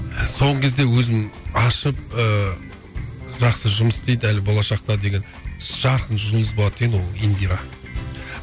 соңғы кезде өзім ашып ыыы жақсы жұмыс істейді әлі болашақта деген жарқын жұлдыз болады деген ол индира